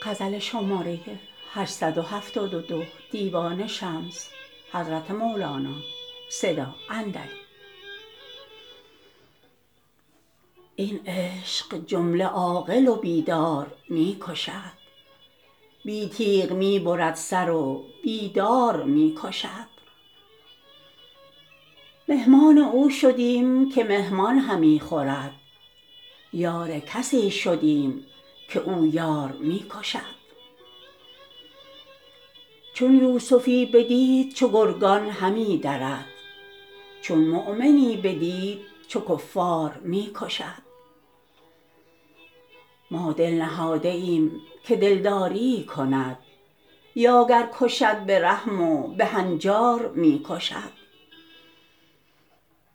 این عشق جمله عاقل و بیدار می کشد بی تیغ می برد سر و بی دار می کشد مهمان او شدیم که مهمان همی خورد یار کسی شدیم که او یار می کشد چون یوسفی بدید چو گرگان همی درد چون مؤمنی بدید چو کفار می کشد ما دل نهاده ایم که دلداریی کند یا گر کشد به رحم و به هنجار می کشد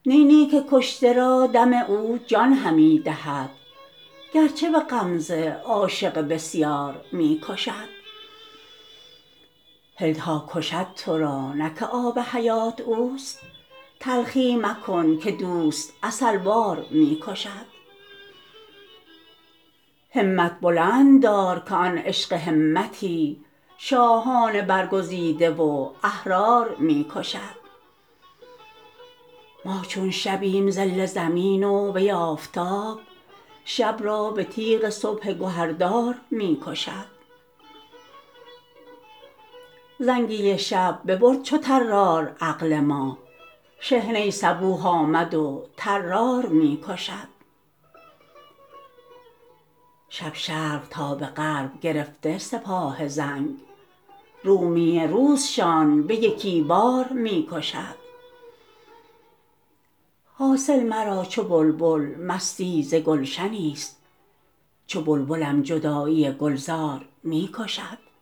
نی نی که کشته را دم او جان همی دهد گرچه به غمزه عاشق بسیار می کشد هل تا کشد تو را نه که آب حیات اوست تلخی مکن که دوست عسل وار می کشد همت بلند دار که آن عشق همتی شاهان برگزیده و احرار می کشد ما چون شبیم ظل زمین و وی آفتاب شب را به تیغ صبح گهردار می کشد زنگی شب ببرد چو طرار عقل ما شحنه صبوح آمد و طرار می کشد شب شرق تا به غرب گرفته سپاه زنگ رومی روزشان به یکی بار می کشد حاصل مرا چو بلبل مستی ز گلشنیست چون بلبلم جدایی گلزار می کشد